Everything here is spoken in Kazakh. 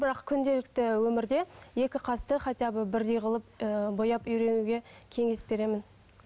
бірақ күнделікті өмірде екі қасты хотя бы бірдей қылып ы бояп үйренуге кеңес беремін